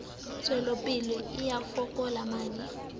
tswelopele e a fokola maano